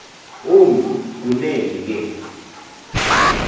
ombi kunene ke